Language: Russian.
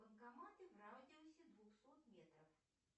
банкоматы в радиусе двухсот метров